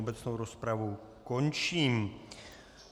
Obecnou rozpravu končím.